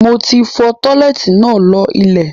Moti fọ̀ọ̀ tọ́lẹ́ẹ́tì náà lọ ilẹ̀.